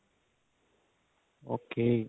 okay